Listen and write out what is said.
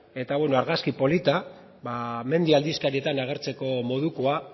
eta argazki polita mendi aldizkarietan agertzeko modukoa